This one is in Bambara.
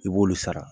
I b'olu sara